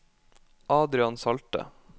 Adrian Salte